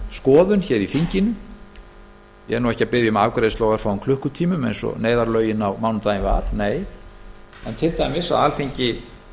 ég er ekki að biðja um afgreiðslu á örfáum klukkutímum eins og neyðarlögin á mánudaginn var nei en til dæmis að alþingi